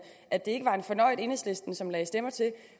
at det ikke var en fornøjet enhedslisten som lagde stemmer til